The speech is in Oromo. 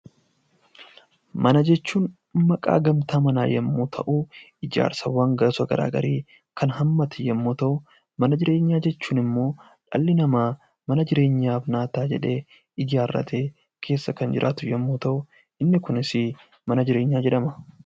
Mana jechuun maqaa gamtaa mana yommuu ta'u, ijaarsa gosa garaagaraa kan hammate yoo ta'u, mana jireenyaa jechuun immoo dhalli namaa mana jireenyaaf naa ta'a jedhee ijaarratee keessa kan jiraatu yommuu ta'u, inni Kunis mana jireenyaa jedhama